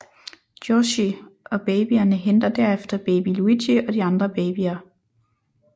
Yoshi og babyerne henter derefter baby Luigi og de andre babyer